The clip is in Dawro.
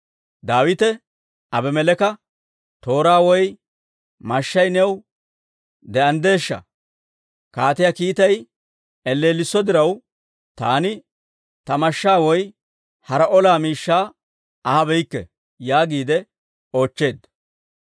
Daawite Abimeleeka, «Tooray woy mashshay new de'anddeeshsha? Kaatiyaa kiitay elleelliso diraw, taani ta mashshaa woy hara ola miishshaa ahabeyikke» yaagiide oochcheedda.